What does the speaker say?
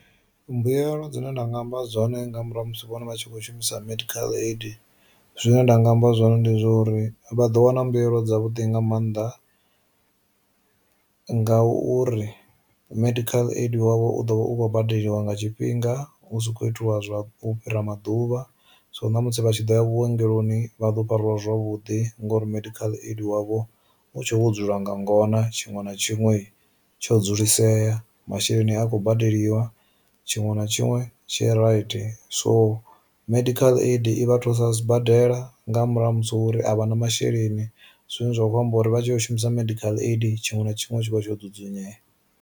Mbuyelo dzine nda nga amba dzone nga murahu ha musi vhone vha tshi kho shumisa medical aid zwine nda nga amba zwone ndi zwa uri vha ḓo wana mbuyelo dza vhuḓi nga maanḓa, nga uri medical aid wavho u ḓo vha u khou badeliwa nga tshifhinga usoko itiwa zwa fhira maḓuvha,. So na musi vha tshi ḓo ya vhuongeloni vha ḓo farwa zwavhuḓi ngori medical aid wavho u tshi vho dzula nga ngona tshiṅwe na tshiṅwe tsho dzulisea masheleni a khou badeliwa tshiṅwe na tshiṅwe tshi rayithi so medical aid i vha thusa zwi badela nga murahu ha musi uri a vha na masheleni zwine zwa khou amba uri vha tshi kho shumisa medical aid tshiṅwe na tshiṅwe tshi vha tsho dzudzanyea.